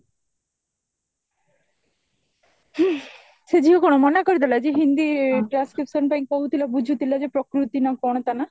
ହ୍ମ ସେ ଝିଅ କଣ ମନା କରିଦେଲା ଯେ ହିନ୍ଦୀ transcription ପାଇଁ କହୁଥିଲା ବୁହୁଥିଲା ଯେ ପ୍ରକୃତି ନା କଣ ତା ନା